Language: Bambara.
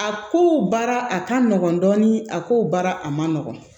A ko baara a ka nɔgɔn dɔɔnin a ko baara a man nɔgɔn